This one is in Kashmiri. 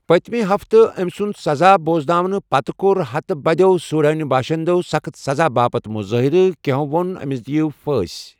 پٔتمہِ ہفتہٕ أمۍ سُنٛد سزا بۄزناونہٕ پتہٕ کوٚر ہَتہٕ بٔدۍ سوڈٲنی باشندَو سخٕت سزا باپتھ مُظٲہرٕ، کینٛہَو ووٚن أمِس دِیِو پھٲنسۍ۔